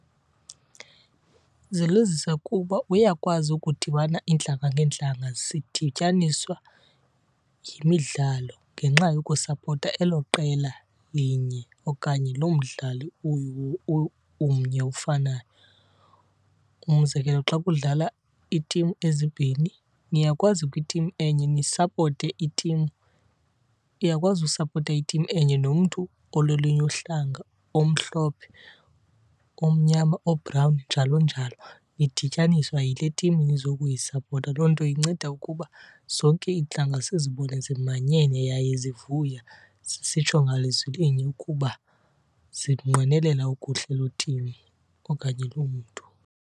Ziluzisa kuba uyakwazi ukudibana iintlanga ngeentlanga zidityaniswa yimidlalo ngenxa yokusapota elo qela linye okanye loo mdlali umnye ufanayo. Umzekelo, xa kudlala iitim ezimbini niyakwazi kwitim enye nisapote itim. Uyakwazi usapota itim enye nomntu ololunye uhlanga, omhlophe, omnyama, o-brown, njalo njalo, nidityaniswa yile tim nizokuyisapota. Loo nto inceda ukuba zonke iintlanga sizibone zimanyene yaye zivuya zisitsho ngalizwi linye ukuba zinqwenelela ukuhle eluntwini okanye loo mntu.